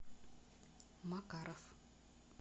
макаров